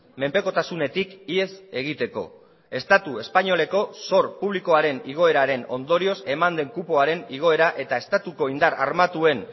menpekotasunetik ihes egiteko estatu espainoleko zor publikoaren igoeraren ondorioz eman den kupoaren igoera eta estatuko indar armatuen